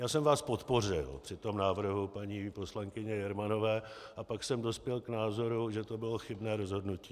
Já jsem vás podpořil při tom návrhu paní poslankyně Jermanové a pak jsem dospěl k názoru, že to bylo chybné rozhodnutí.